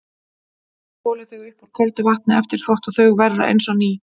Skolið þau upp úr köldu vatni eftir þvott og þau verða eins og ný.